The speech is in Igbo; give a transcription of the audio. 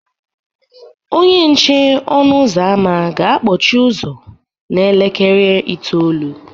Onye nche ọnụ ụzọ ámá ga-akpọchi ụzọ n'elekere itoolu